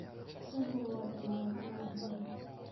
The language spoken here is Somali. Shaahu waa dalagga caanka ah.